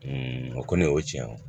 o kɔni o ye tiɲɛ ye